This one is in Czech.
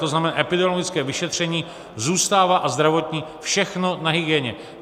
To znamená, epidemiologické vyšetření zůstává - a zdravotní - všechno na hygieně.